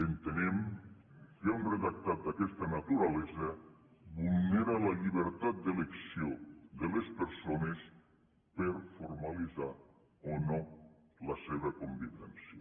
entenem que un redactat d’aquesta naturalesa vulnera la llibertat d’elecció de les persones per a formalitzar o no la seva convivència